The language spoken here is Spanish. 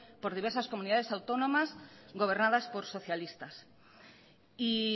por diversas comunidades autónomas gobernadas por socialistas y